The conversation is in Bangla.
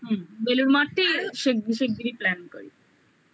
হুম বেলুড় মঠটাই শিগগিরি শিগগিরি plan করি